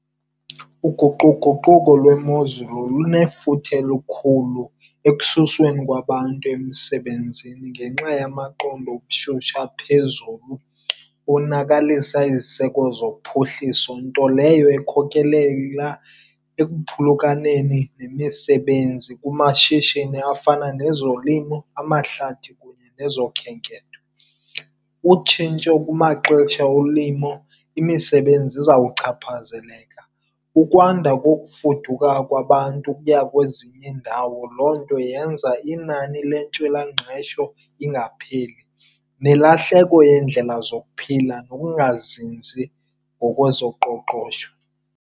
Uguquguquko lwemozulu lunefuthe lukhulu ekususweni kwabantu emsebenzini ngenxa yamaqondo obushushu aphezulu. Onakalisa iziseko zophuhliso, nto leyo ekhokelela ekuphulukaneni nemisebenzi kumashishini afana nezolimo, amahlathi kunye nezokhenketho. Utshintsho kumaxesha olimo, imisebenzi izawuchaphazeleka. Ukwanda kokufuduka kwabantu ukuya kwezinye iindawo, loo nto yenza inani lwentswelangqesho ingapheli. Nelahleko yendlela zokuphila nokungazinzi ngokwezoqoqosho.